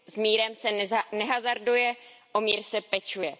S mírem se nehazarduje, o mír se pečuje.